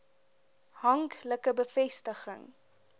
hank like bevestiging